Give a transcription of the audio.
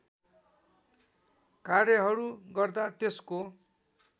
कार्यहरू गर्दा त्यसको